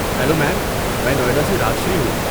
Hello ma'am, میں نوئیڈا سے راج شری ہوں۔